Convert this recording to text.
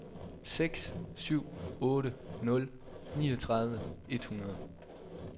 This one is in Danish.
seks syv otte nul niogtredive et hundrede